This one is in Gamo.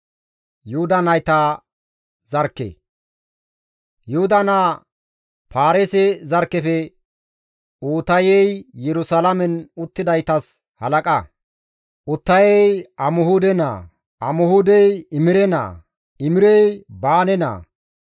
Yuhuda naa Paareese zarkkefe Uutayey Yerusalaamen uttidaytas halaqa; Uutayey Amihuude naa; Amihuudey Imire naa; Imirey Baane naa.